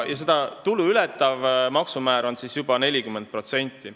Seda summat ületava tulu maksumäär on juba 40%.